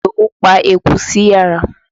Ìdówú pa eku sí yàrá.